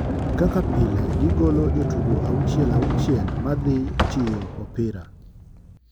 Kaka pile gi golo jotugo auchile auchile ma dhi chiyo opira.